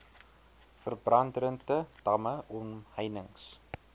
verbandrente damme omheinings